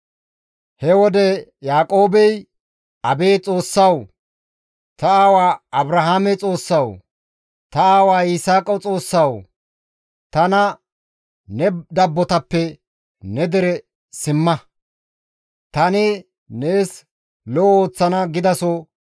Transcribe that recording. He wode Yaaqoobey, «Abeet Xoossawu! Ta aawa Abrahaame Xoossawu, ta aawa Yisaaqa Xoossawu, tana, ‹Ne dabbotakko ne dere simma; tani nees lo7o ooththana› gidaso,